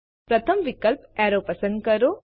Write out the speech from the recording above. પ્રથમ વિકલ્પ એરો પસંદ કરો